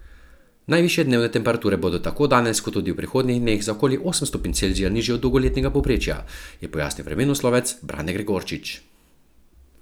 Najvišje dnevne temperature bodo tako danes kot tudi v prihodnjih dneh za okoli osem stopinj Celzija nižje od dolgoletnega povprečja, je pojasnil vremenoslovec Brane Gregorčič.